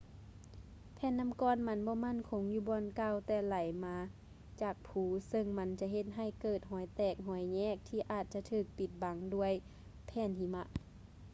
ແຜ່ນນໍ້າກ້ອນມັນບໍ່ໝັ້ນຄົງຢູ່ບ່ອນເກົ່າ ແຕ່ໄຫຼລົງມາຈາກພູ ເຊິ່ງມັນຈະເຮັດໃຫ້ເກີດຮອຍແຕກ ຮອຍແຍກທີ່ອາດຈະຖືກປິດບັງດ້ວຍແຜ່ນຫິມະ